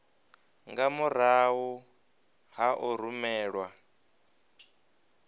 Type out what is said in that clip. nga murahu ha u rumelwa